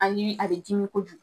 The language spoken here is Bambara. Hali a bɛ dimi kojugu